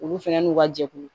Olu fɛnɛ n'u ka jɛkulu